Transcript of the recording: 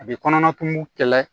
A bɛ kɔnɔnatugu kɛlɛ